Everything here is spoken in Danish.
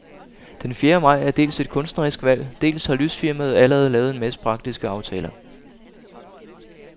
Den fjerde maj er dels et kunstnerisk valg, dels har lysfirmaet allerede lavet en masse praktiske aftaler.